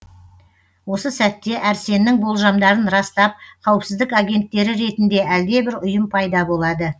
осы сәтте әрсеннің болжамдарын растап қауіпсіздік агенттері ретінде әлдебір ұйым пайда болады